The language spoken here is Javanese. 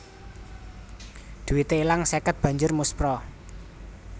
Duite ilang seket banjur muspra